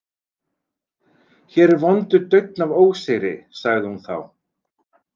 Hér er vondur daunn af ósigri, sagði hún þá.